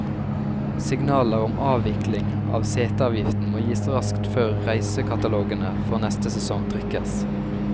Signaler om avvikling av seteavgiften må gis raskt før reisekatalogene for neste sesong trykkes.